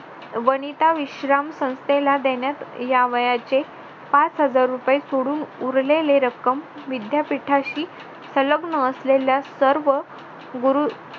वनिता विश्राम संस्थेला देण्यात यावयाचे पाच हजार रुपये सोडून उरलेली रक्कम विद्यापीठाशी संलग्न असलेल्या सर्व गुरु